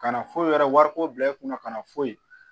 Ka na foyi yɛrɛ wariko bila i kunna kana foyi